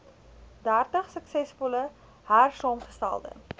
dertig suksesvol hersaamgestelde